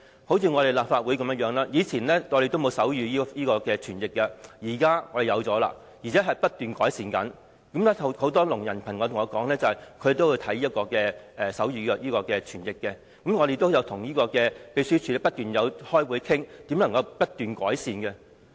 正如立法會以前也沒有提供手語傳譯，現在我們提供了，而且不斷改善。很多聾人朋友對我說，他們都會觀看手語傳譯，而我們也一直與立法會秘書處開會討論如何不斷改善。